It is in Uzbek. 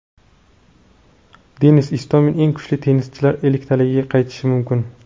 Denis Istomin eng kuchli tennischilar elliktaligiga qaytishi mumkin.